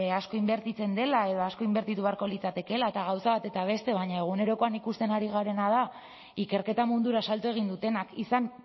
asko inbertitzen dela edo asko inbertitu beharko litzatekeela eta gauza bat eta beste baina egunerokoan ikusten ari garena da ikerketa mundura salto egin dutenak izan